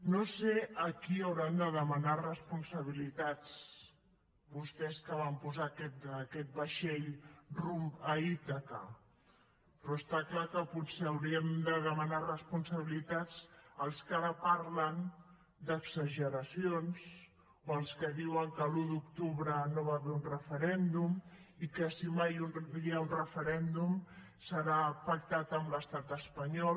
no sé a qui hauran de demanar responsabilitats vostès que van posar aquest vaixell rumb a ítaca però està clar que potser hauríem de demanar responsabilitats als que ara parlen d’exageracions o als que diuen que l’un d’octubre no hi va haver un referèndum i que si mai hi ha un referèndum serà pactat amb l’estat espanyol